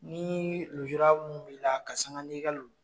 Ni lujura mun b' la ka sanga nin ka